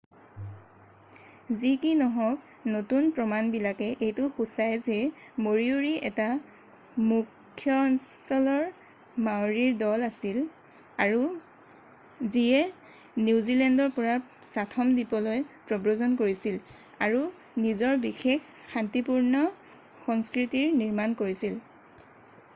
যি কি নহওক নতুন প্ৰমাণবিলাকে এইটো সুচাই যে মৰিওৰি এটা মুখ্যঅঞ্চলৰ মাওৰীৰ দল আছিল যিয়ে নিউজিলেণ্ডৰ পৰা চাথম দ্বীপলৈ প্ৰব্ৰজন কৰিছিল আৰু নিজৰ বিশেষ শান্তিপূৰ্ণ সংস্কৃতিৰ নিৰ্মাণ কৰিছিল